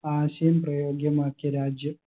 ആശയം പ്രയോഗ്യമാക്കിയ രാജ്യം